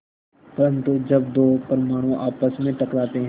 परन्तु जब दो परमाणु आपस में टकराते हैं